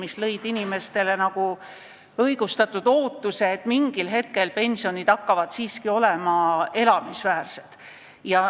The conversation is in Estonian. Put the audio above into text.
Need tekitasid inimestel nagu õigustatud ootuse, et mingil hetkel hakkavad pensionid olema siiski elamisväärsed.